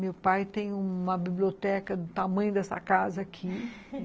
Meu pai tem uma biblioteca do tamanho dessa casa aqui